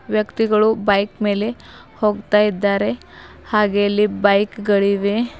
ವ್ಯಕ್ತಿಗಳು ಬೈಕ್ ಮೇಲೆ ಹೋಗ್ತಾ ಇದ್ದಾರೆ ಹಾಗೆ ಅಲ್ಲಿ ಬೈಕ್ ಗಳಿವೆ.